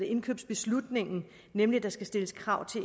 indkøbsbeslutningen nemlig at der skal stilles krav